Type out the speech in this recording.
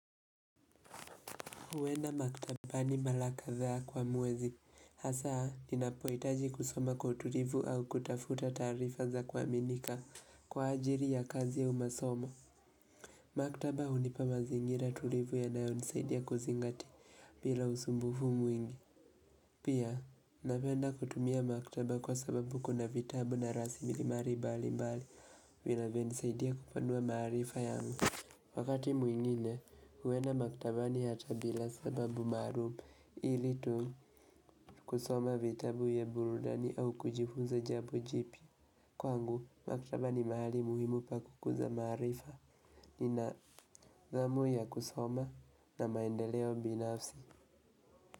Huwenda maktabani mara kadhaa kwa mwezi. Hasa, ninapoitaji kusoma kwa utulivu au kutafuta taarifa za kwaminika. Kwa ajili ya kazi au masomo. Maktaba hunipa mazingira tulivu yanayo nisaidia kuzingatia bila usumbufu mwingi. Pia, napenda kutumia maktaba kwa sababu kuna vitabu na raslimali mbali mbali. Vinayo ni saidia kupanua maarifa yangu. Wakati mwingine, huenda maktabani hata bila sababu maluum, ili tuu kusoma vitabu vya burudani au kujifunza jambo jipya. Kwangu, maktaba ni mahali muhimu pa kukuza maarifa, nina hamu ya kusoma na maendeleo binafsi.